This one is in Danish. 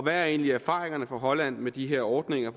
er egentlig erfaringerne fra holland med de her ordninger